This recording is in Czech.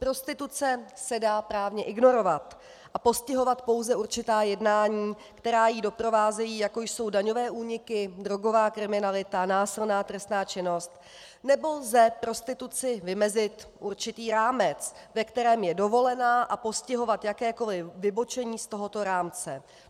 Prostituce se dá právně ignorovat a postihovat pouze určitá jednání, která ji doprovázejí, jako jsou daňové úniky, drogová kriminalita, násilná trestná činnost, nebo lze prostituci vymezit určitý rámec, ve kterém je dovolená, a postihovat jakékoli vybočení z tohoto rámce.